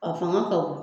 A fanga ka bon